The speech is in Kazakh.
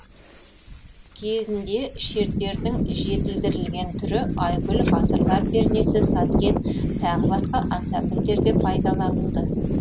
кезінде шертердің жетілдірілген түрі айгүл ғасырлар пернесі сазген т б ансамбльдерде пайдаланылды